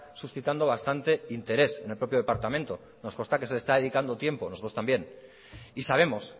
suscitando bastante interés en el propio departamento nos consta que se le está dedicando tiempo nosotros también y sabemos